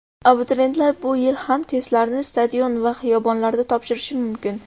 Abituriyentlar bu yil ham testlarni stadion va xiyobonlarda topshirishi mumkin.